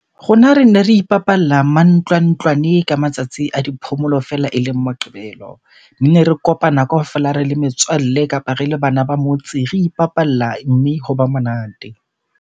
Rona rene re ipapalla mantlwantlwane ka matsatsi a di phomolo fela eleng Moqebelo. Nne re kopana kaofela re le metswalle kapa re le bana ba motse, re ipapalla mme hoba monate.